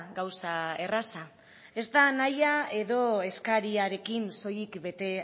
gauza erraza ez da nahia edo eskariarekin soilik bete